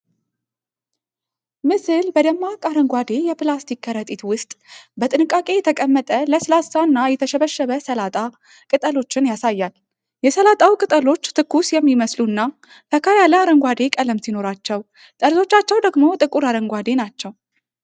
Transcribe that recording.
ምስል በደማቅ አረንጓዴ የፕላስቲክ ከረጢት ውስጥ በጥንቃቄ የተቀመጠ ለስላሳ እና የተሸበሸበ ሰላጣ ቅጠሎችን ያሳያል። የሰላጣው ቅጠሎች ትኩስ የሚመስሉ እና ፈካ ያለ አረንጓዴ ቀለም ሲኖራቸው፣ ጠርዞቻቸው ደግሞ ጥቁር አረንጓዴ ናቸው።